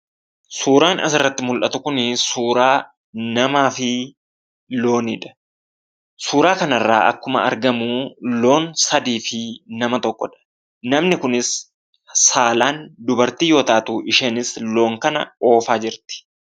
Suuraan asirratti mul'atu kun, suuraa namaafi looniidha. suuraa kanarra akkuma argamu loon sadii fi nama tokkodha. namni kunis saalaan dubartii yoo taatuu isheenis loon kana oofaa jirti.